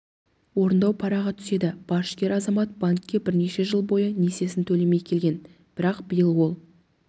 орындау парағы түседі борышкер азамат банкке бірнеше жыл бойы несиесін төлемей келген бірақ биыл ол